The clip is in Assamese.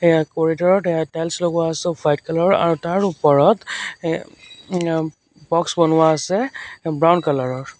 ইয়াত কৰিডৰ ত টাইলছ লগোৱা আছে অফ হোৱাইট কালাৰ ৰ আৰু তাৰ ওপৰত এ উম ব'ক্স বনোৱা আছে ব্ৰাউন কালাৰ ৰ।